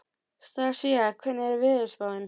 Stasía, hvernig er veðurspáin?